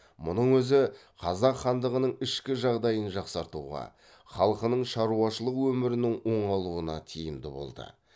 мұның өзі қазақ хандығының ішкі жағдайын жақсартуға халқының шаруашылық өмірінің оңалуына тиімді болды